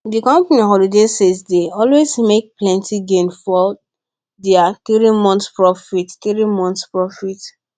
dey company holiday sales dey always make plenty gain for their three months profit three months profit